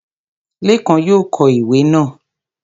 Lékan yóò kọ ìwé náà